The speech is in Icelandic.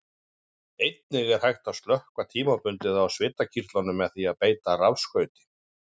Einnig er hægt að slökkva tímabundið á svitakirtlum með því að beita rafstraumi.